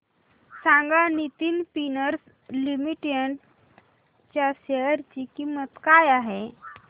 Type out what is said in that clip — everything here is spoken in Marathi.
सांगा नितिन स्पिनर्स लिमिटेड च्या शेअर ची किंमत काय आहे